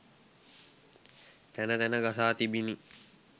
තැන තැන ගසා තිබිණි